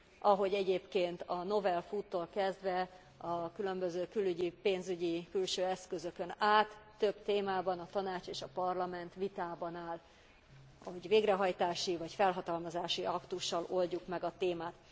Ahogy egyébként a novel food tól kezdve a különböző külügyi, pénzügyi külső eszközökön át több témában a Tanács és a Parlament vitában áll, hogy végrehajtási vagy felhatalmazási aktussal oldjuk meg a témát.